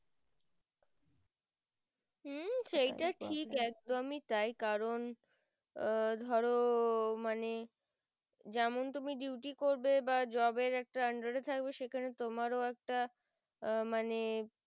একদমই তাই কারণ আহ ধরো মানে যেমন তুমি duty করবে বা job এর একটা under এ থাকবে সেখানে তোমার একটা আহ মানে